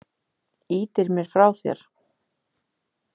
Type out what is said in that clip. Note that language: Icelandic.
Ýtir mér frá þér.